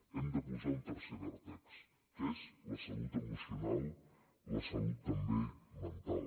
hem de posar un tercer vèrtex que és la salut emocional la salut també mental